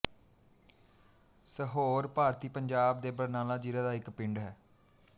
ਸਹੋਰ ਭਾਰਤੀ ਪੰਜਾਬ ਦੇ ਬਰਨਾਲਾ ਜ਼ਿਲ੍ਹਾ ਦਾ ਇੱਕ ਪਿੰਡ ਹੈ